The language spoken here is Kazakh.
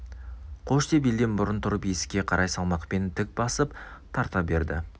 қош деп елден бұрын тұрып есікке қарай салмақпен тік басып тарта берді